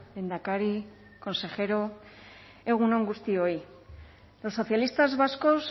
lehendakari consejero egun on guztioi los socialistas vascos